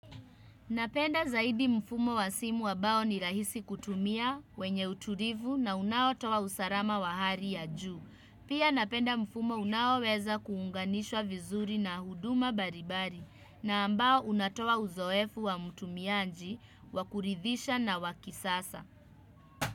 Napenda zaidi mfumo wa simu ambao ni rahisi kutumia, wenye utulivu na unaotoa wa usalama wa hali ya juu. Pia napenda mfumo unawo weza kuunganishwa vizuri na huduma mbali mbali na ambao unatowa uzoefu wa mtumiaji. Wakuridhisha na wakisasa.